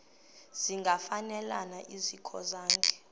zingafanelana zikho zonke